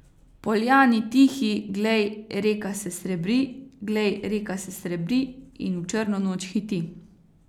V poljani tihi, glej, reka se srebri, glej, reka se srebri in v črno noč hiti.